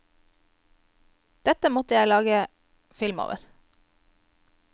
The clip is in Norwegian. Dette måtte jeg bare lage film over.